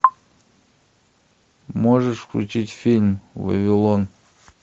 можешь включить фильм вавилон